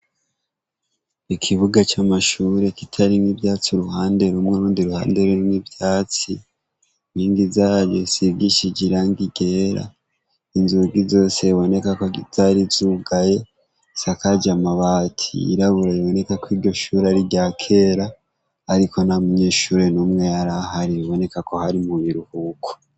Ikibuga c'amashure kitarimw'ivyatsi uruhande rumwe urundi ruhande rimwe ivyatsi ningi zayo sivy ishije irangigera inzugi zosebonekako zari zugaye sakaja amabati irabura iboneka ko iryo shuri ari rya kera, ariko niamunyeshureno umwe yari ahari biboneka ko hari muyiruhuko.